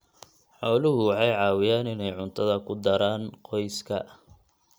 Xooluhu waxay caawiyaan inay cuntada ku daraan qoyska.